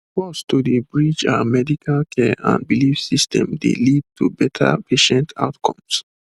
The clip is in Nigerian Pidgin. to dey bridge ah medical care and belief systems dey lead to better patient outcomes